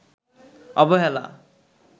অবহেলা